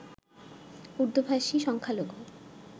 উর্দুভাষী সংখ্যালঘু